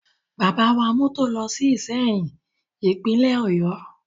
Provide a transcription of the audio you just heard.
Bàbá wa mọ́tò lọ sí Ìsẹ́yìn, Ìpínlẹ̀ Ọ̀yọ́